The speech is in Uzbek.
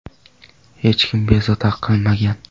Hech kim bezovta qilmagan.